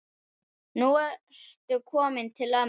Nú ertu kominn til ömmu.